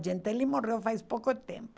Sargentelli morreu faz pouco tempo.